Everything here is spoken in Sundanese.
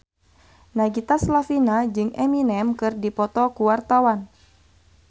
Nagita Slavina jeung Eminem keur dipoto ku wartawan